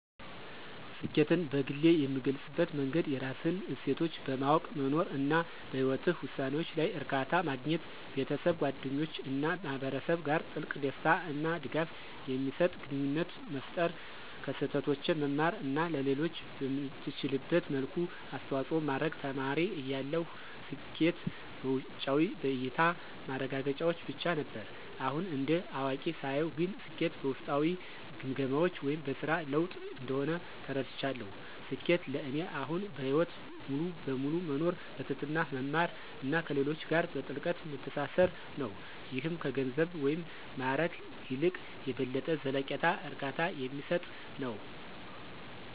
ስኬትን በግሌ የምገልፅበት መንገድ የራስህን እሴቶች በማወቅ መኖር፣ እና በህይወትህ ውሳኔዎች ላይ እርካታ ማግኘት። ቤተሰብ፣ ጓደኞች እና ማህበረሰብ ጋር ጥልቅ፣ ደስታ እና ድጋፍ የሚሰጥ ግንኙነት መፍጠር፣ ከስህተቶቼ መማር እና ለሌሎች በምትችልበት መልኩ አስተዋጽኦ ማድረግ። ተማሪ እያለሁ ስኬት በውጫዊ (በእያታ) ማረጋገጫዎች ብቻ ነበር። አሁን እንደ አዋቂ ሳየው ግን ስኬት በውስጣዊ ግምገማዎች (በስራ ለውጥ) እንደሆነ ተረድቻለሁ። ስኬት ለእኔ አሁን በህይወት ሙሉ በሙሉ መኖር፣ በትህትና መማር እና ከሌሎች ጋር በጥልቀት መተሳሰር ነው - ይህም ከገንዘብ ወይም ማዕረግ ይልቅ የበለጠ ዘላቂ እርካታ የሚሰጥ ነው።